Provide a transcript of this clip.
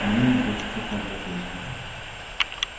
имеет дефицитную профессию